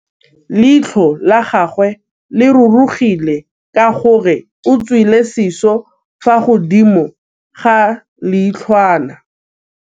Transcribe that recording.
Leitlhô la gagwe le rurugile ka gore o tswile sisô fa godimo ga leitlhwana.